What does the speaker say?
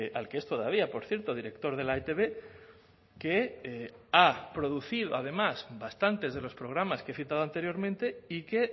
al que es todavía por cierto director de la etb que ha producido además bastantes de los programas que he citado anteriormente y que